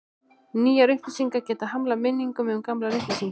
Nýjar upplýsingar geta hamlað minningum um gamlar upplýsingar.